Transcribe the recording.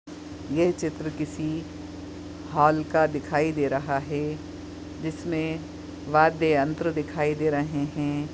ये चित्र किसी हॉल का दिखाई दे रहा है जिसमे वाद्य यंत्र दिखाई दे रहे है।